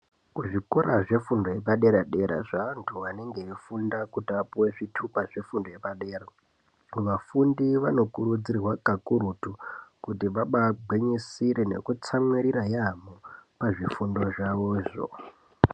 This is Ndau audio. Kuzvikora zvefundo yepadera-dera zveanthu anenge eifunda kuti apuwe zvithupa zvefundo yepadera, vafundi vanokurudzirwa kakurutu, kuti vabaagwinyisire nekutsamwirira yamho pazvifundo zvavozvo.